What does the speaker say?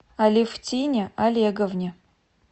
алевтине олеговне